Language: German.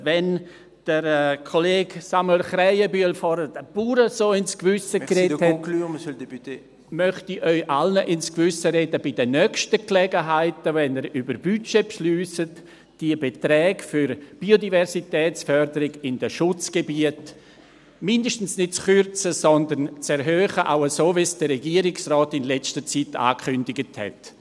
Wenn der Kollege Samuel Krähenbühl vorhin den Bauern so ins Gewissen geredet hat …… möchte ich Ihnen allen ins Gewissen reden bei den nächsten Gelegenheiten, wenn Sie über Budgets befinden, die Beträge für die Biodiversitätsförderung in den Schutzgebieten mindestens nicht zu kürzen, sondern zu erhöhen, so wie es der Regierungsrat in letzter Zeit angekündigt hat.